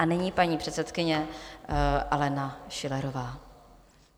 A nyní paní předsedkyně Alena Schillerová.